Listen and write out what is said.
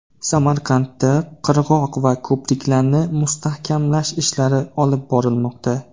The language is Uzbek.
Samarqandda qirg‘oq va ko‘priklarni mustahkamlash ishlari olib borilmoqda.